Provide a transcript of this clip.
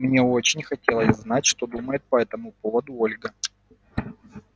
мне очень хотелось знать что думает по этому поводу ольга